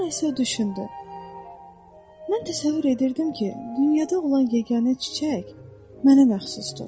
Sonra isə düşündü: "Mən təsəvvür edirdim ki, dünyada olan yeganə çiçək mənə məxsusdur.